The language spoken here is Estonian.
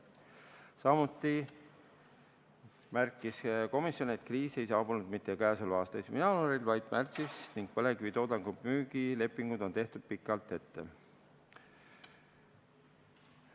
Samuti märkis komisjon, et kriis ei saabunud mitte k.a 1. jaanuaril, vaid märtsis ning põlevkivitoodangu müügilepingud on tehtud pikalt ette.